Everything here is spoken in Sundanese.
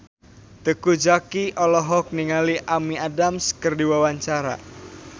Teuku Zacky olohok ningali Amy Adams keur diwawancara